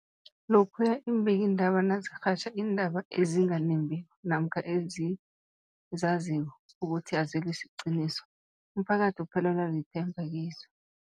Lokhuya iimbikiindaba nazirhatjha iindaba ezinganembiko namkha ezizaziko ukuthi azisi liqiniso, umphakathi uphelelwa lithemba kizo.